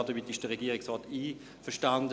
Damit ist der Regierungsrat einverstanden;